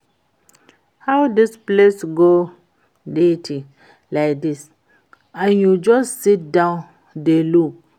How dis place go dirty like dis and you just sit down dey look?